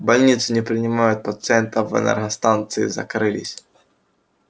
больницы не принимают пациентов энергостанции закрылись